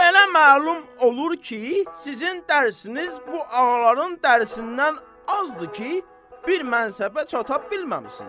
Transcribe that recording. Belə məlum olur ki, sizin dərsiziniz bu ağaların dərsindən azdır ki, bir mənsəbə çata bilməmisiniz.